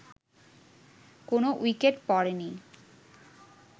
কোন উইকেট পড়েনি